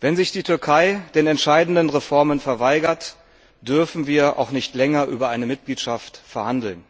Wenn sich die Türkei den entscheidenden Reformen verweigert, dürfen wir auch nicht länger über eine Mitgliedschaft verhandeln.